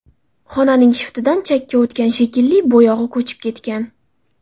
Xonaning shiftidan chakka o‘tgan shekilli, bo‘yog‘i ko‘chib ketgan.